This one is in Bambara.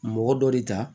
Mɔgɔ dɔ de ta